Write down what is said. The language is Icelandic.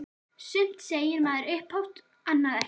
Sumt segir maður upphátt- annað ekki.